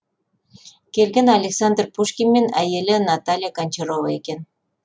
келген александр пушкин мен әйелі наталья гончарова екен